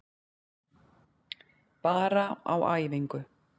Bara á æfingu.